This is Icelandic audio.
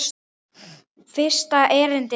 Fyrsta erindi er svona